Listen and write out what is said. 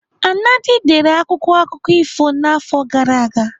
Anadi dere akwụkwọ akụkọ ifo n'afọ gara aga.